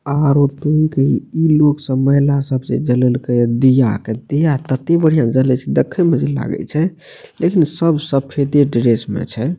आर इ लोग सब इ महिला सब जे जलेएल के ये दीया के दिया तते बढ़िया से जले छै देखे मे जे लागे छै देखि ने सब सफेदे ड्रेस में छै।